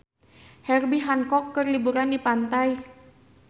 Herbie Hancock keur liburan di pantai